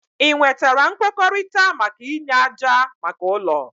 Ị nwetara nkwekọrịta maka inye ájá maka ụlọ?